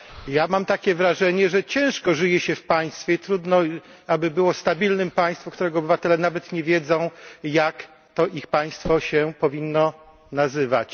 Ja mam wrażenie, że ciężko żyje się w państwie trudno, aby było stabilnym państwem takie, którego obywatele nawet nie wiedzą, jak to ich państwo powinno się nazywać.